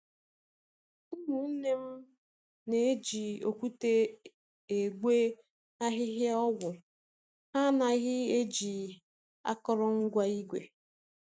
Ụmụnne m na-eji okwute egwe ahịhịa ọgwụ, ha anaghị eji akụrụngwa igwe